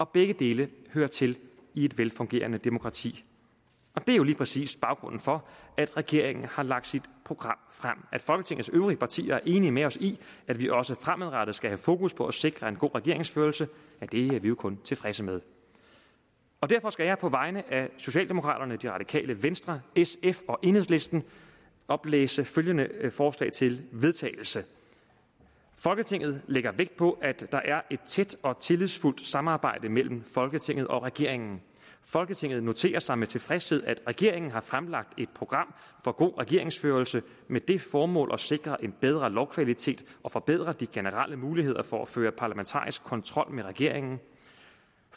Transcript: begge dele hører til i et velfungerende demokrati det er jo lige præcis baggrunden for at regeringen har lagt sit program frem at folketingets øvrige partier er enige med os i at vi også fremadrettet skal have fokus på at sikre en god regeringsførelse er vi jo kun tilfredse med derfor skal jeg på vegne af socialdemokraterne det radikale venstre sf og enhedslisten oplæse følgende forslag til vedtagelse folketinget lægger vægt på at der er et tæt og tillidsfuldt samarbejde mellem folketinget og regeringen folketinget noterer sig med tilfredshed at regeringen har fremlagt et program for god regeringsførelse med det formål at sikre en bedre lovkvalitet og forbedre de generelle muligheder for at føre parlamentarisk kontrol med regeringen